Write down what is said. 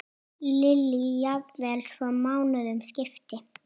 Lillý: Jafnvel svo mánuðum skipti?